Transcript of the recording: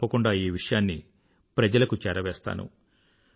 నేను తప్పకుండా ఈ విషయాన్ని ప్రజలకు చేరవేస్తాను